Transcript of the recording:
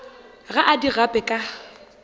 ga a di gape ka